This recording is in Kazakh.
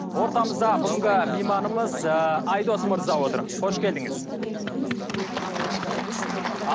ортамызда бүгінгі мейманымыз ы айдос мырза отыр қош келдіңіз